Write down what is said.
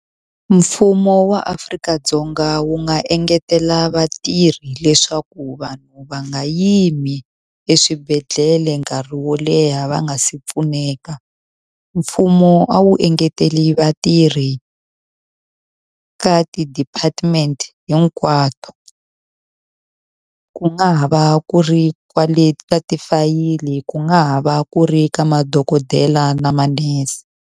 Mfumo wa Afrika-Dzonga wu nga engetela vatirhi leswaku vanhu va nga yimi eswibedhlele nkarhi wo leha va nga si pfuneka. Mfumo a wu engetele vatirhi eka ti-department hinkwato. Ku nga ha va ku ri kwale ka tifayili, ku nga ha va ku ri ka madokodela ni manese.